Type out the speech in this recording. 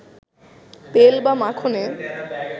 তেল বা মাখনে